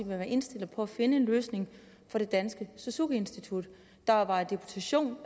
være indstillet på at finde en løsning for det danske suzuki institut der var i deputation